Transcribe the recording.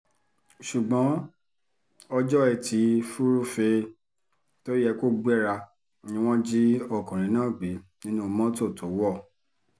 ṣùgbọ́n ọjọ́ etí furuufee tó yẹ kó gbéra ni wọ́n jí ọkùnrin náà gbé nínú mọ́tò tó wọ̀